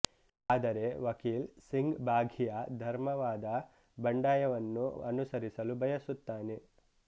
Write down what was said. ಆದರೆ ವಕೀಲ್ ಸಿಂಗ್ ಬಾಘಿಯ ಧರ್ಮವಾದ ಬಂಡಾಯವನ್ನು ಅನುಸರಿಸಲು ಬಯಸುತ್ತಾನೆ